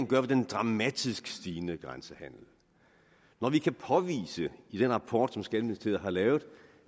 gøre ved den dramatisk stigende grænsehandel når vi kan påvise i den rapport som skatteministeriet har lavet